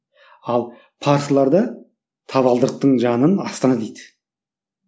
ал парсыларда табалдырықтың жанын астана дейді